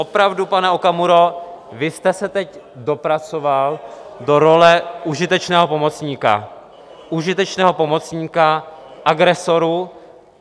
Opravdu, pane Okamuro, vy jste se teď dopracoval do role užitečného pomocníka, užitečného pomocníka agresorů.